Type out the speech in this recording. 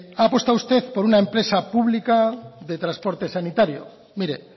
ha apostado usted por una empresa pública de transporte sanitario mire